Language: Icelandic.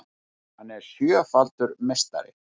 Hann er sjöfaldur meistari